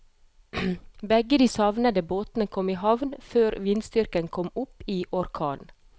Begge de savnede båtene kom i havn før vindstyrken kom opp i orkan.